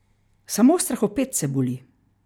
Samo strahopetce boli.